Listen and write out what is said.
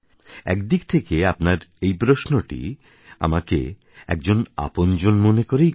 একদিক থেকে আপনার এই আপনার প্রশ্নটি আমাকে একজন আপনজন মনে করেই করা